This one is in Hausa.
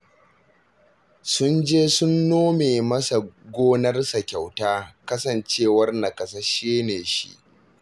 Sun je sun nome masa gonarsa kyauta, kasancewar naƙasasshe ne shi